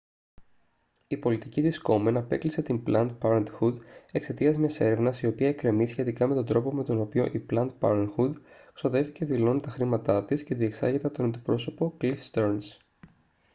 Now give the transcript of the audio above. η πολιτική της κόμεν απέκλεισε την πλαντ πάρεντχουντ εξαιτίας μιας έρευνας η οποία εκκρεμεί σχετικά με τον τρόπο με τον οποίο η πλαντ πάρεντχουντ ξοδεύει και δηλώνει τα χρήματά της και διεξάγεται από τον αντιπρόσωπο κλιφ στερνς